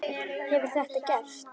Hefur þetta gerst?